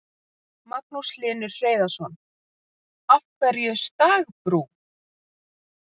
Magnús Hlynur Hreiðarsson: Af hverju stagbrú?